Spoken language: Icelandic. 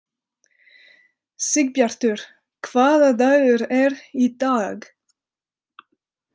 Sigbjartur, hvaða dagur er í dag?